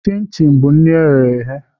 Chi chin bụ nri eghe eghe